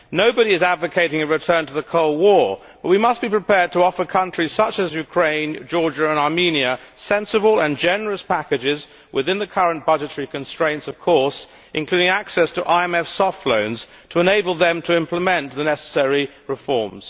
Nobody is advocating a return to the Cold War, but we must be prepared to offer countries such as Ukraine, Georgia and Armenia sensible and generous packages, within the current budgetary constraints of course, including access to IMF soft loans, to enable them to implement the necessary reforms.